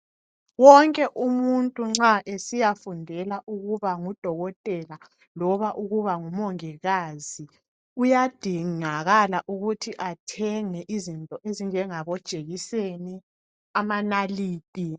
Wonke umuntu nxa esiyafundela ukuba ngudokotela loba ukuba ngumongikazi, kuyadingakala ukuthi athenge izinto ezinjengamajekiseni, amanaliti.